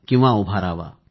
किंवा आपल्या घरात लावा